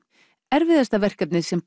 erfiðasta verkefnið sem